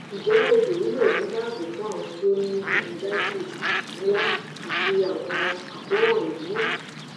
njẹ odò wíwẹ̀ ni dààbò fun awọn ti o ni pharyngitis nla ati awọn akoran eemi